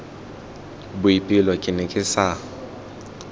boipelo ke ne ke sa